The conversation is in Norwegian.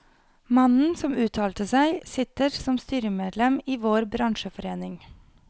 Mannen som uttalte seg, sitter som styremedlem i vår bransjeforening.